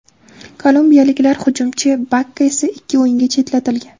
Kolumbiyaliklar hujumchisi Bakka esa ikki o‘yinga chetlatilgan.